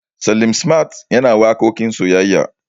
Salim smart yana waƙoƙin soyayya.